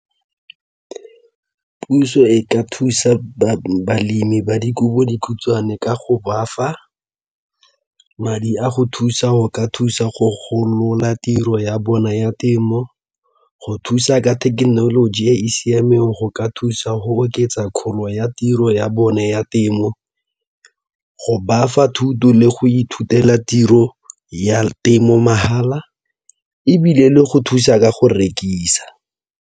Puso e ka thusa balemi ba dikobodikhutshwane ka go bafa madi a go thusa go ka thusa go golola tiro ya bona ya temo, go thusa ka thekenoloji e e siameng go ka thusa go oketsa kgolo ya tiro ya bone ya temo, go bafa thuto le go ithutela tiro ya temo mahala ebile le go thusa ka go rekisa.